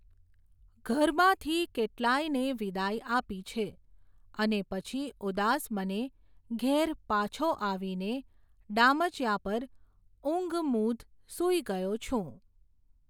ઘરમાંથી કેટલાંયને વિદાય આપી છે,, અને પછી ઉદાસ મને, ઘેર પાછો આવીને ડામચિયા પર ઊંઘમૂધ સૂઈ ગયો છું.